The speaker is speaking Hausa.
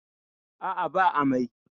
A'a ba amai.